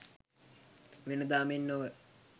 වෙනදා මෙන් නොව